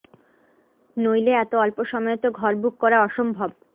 নইলে এত অল্প সময়ে তো ঘর বুক করা অসম্ভব